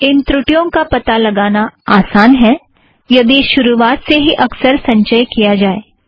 इन त्रुटियों का पता लगाना आसान है यदि शुरुआत से ही अक्सर संचय किया जाए